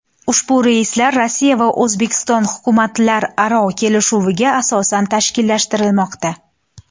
Ushbu reyslar Rossiya va O‘zbekiston hukumatlararo kelishuvga asosan tashkillashtirilmoqda.